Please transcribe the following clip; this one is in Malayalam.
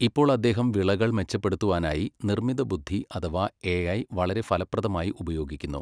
ഇപ്പോൾ അദ്ദേഹം വിളകൾ മെച്ചപ്പെടുത്തുവാനായി നിർമ്മിതബുദ്ധി അഥവാ എ ഐ വളരെ ഫലപ്രദമായി ഉപയോഗിക്കുന്നു.